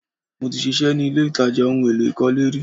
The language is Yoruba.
Mo ti ṣiṣẹ́ ni ilé-ìtàjà ohun èlò ìkọ́lé rí